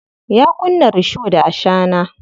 Ya kunna risho da ashana.